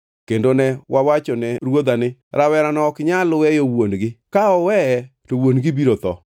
Kendo ne wawachone ruodha ni, ‘Rawerano ok nyal weyo wuon-gi! Ka oweye to wuon-gi biro tho.’